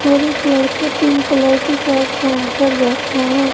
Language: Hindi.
और एक लड़का पिंक कलर की शर्ट पहन कर बैठा है।